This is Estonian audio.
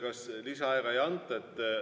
Kas lisaaega ei anta?